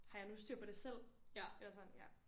Har jeg nu styr på det selv eller sådan ja